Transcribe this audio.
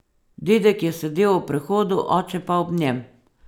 Dedek je sedel ob prehodu, oče pa ob njem.